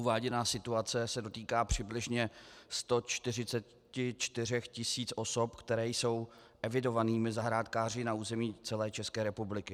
Uváděná situace se dotýká přibližně 144 tis. osob, které jsou evidovanými zahrádkáři na území celé České republiky.